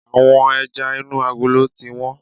Àwọn ẹja inú agolo ti wón.